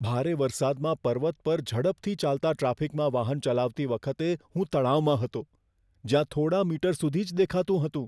ભારે વરસાદમાં પર્વત પર ઝડપથી ચાલતા ટ્રાફિકમાં વાહન ચલાવતી વખતે હું તણાવમાં હતો, જ્યાં થોડા મીટર સુધી જ દેખાતું હતું.